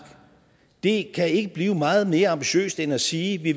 det kan ikke blive meget mere ambitiøst end at sige at vi